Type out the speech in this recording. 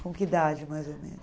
Com que idade, mais ou